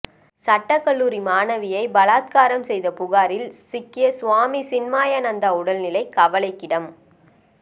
சட்டக்கல்லூரி மாணவியை பலாத்காரம் செய்த புகாரில் சிக்கிய சுவாமி சின்மயானந்தா உடல் நிலை கவலைக்கிடம்